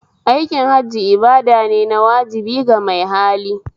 Aikin Hajji ibadane na wajibi ga mai hali